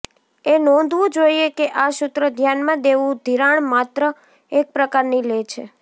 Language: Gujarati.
એ નોંધવું જોઇએ કે આ સૂત્ર ધ્યાનમાં દેવું ધિરાણ માત્ર એક પ્રકારની લે છે